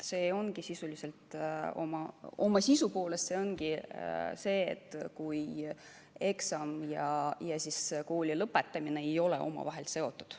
See ongi sisuliselt, oma sisu poolest see, kui eksam ja kooli lõpetamine ei ole omavahel seotud.